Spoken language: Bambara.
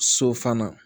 So fana